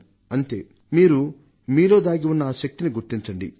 అయితే మీలో దాగివున్న ఆ శక్తిని మీరు గుర్తించండి